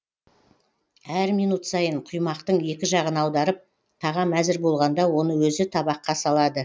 әр минут сайын құймақтың екі жағын аударып тағам әзір болғанда оны өзі табаққа салады